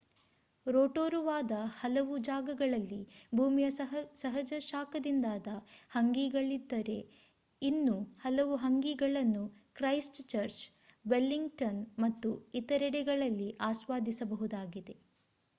ರೋಟೊರುವಾದ ಹಲವು ಜಾಗಗಳಲ್ಲಿ ಭೂಮಿಯ ಸಹಜ ಶಾಖದಿಂದಾದ ಹಂಗೀಗಳಿದ್ದರೆ ಇನ್ನು ಹಲವು ಹಂಗೀಗಳನ್ನು ಕ್ರೈಸ್ಟ್‌ಚರ್ಚ್ ವೆಲ್ಲಿಂಗ್‌ಟನ್ ಮತ್ತು ಇತರೆಡೆಗಳಲ್ಲಿ ಆಸ್ವಾದಿಸಬಹುದಾಗಿದೆ